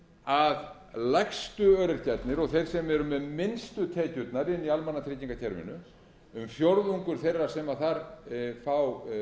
að lægstu öryrkjarnir og þeir sem eru með minnstu tekjurnar inni í almannatryggingakerfinu um fjórðungur þeirra sem þar fá